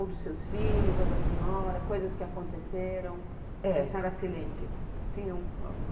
Ou dos seus filhos, ou da senhora, coisas que aconteceram, que a senhora se lembre?